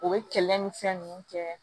O bɛ kɛlɛ ni fɛn ninnu kɛ